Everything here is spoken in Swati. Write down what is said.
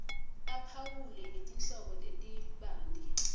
aphawule ngetinhlobo letibanti